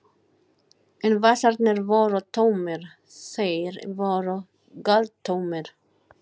En vasarnir voru tómir, þeir voru galtómir.